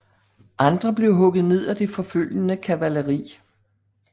Andre blev hugget ned af det forfølgende kavaleri